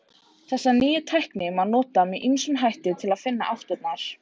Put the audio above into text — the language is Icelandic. Þessa nýju tækni má nota með ýmsum hætti til að finna áttirnar.